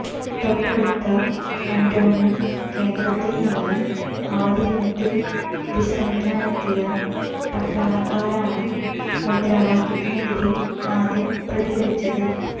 തൊട്ടടുത്ത കന്റോൺമെന്റ് കേന്ദ്രത്തിൽ നിന്ന് അവധിദിനത്തിൽ വിശ്രമിക്കാനെത്തിയ പട്ടാളക്കാരാണ് മുദ്രാവാക്യത്തിനെതിരെ ആദ്യം പ്രതികരിച്ചത്